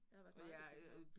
Jeg har været meget i København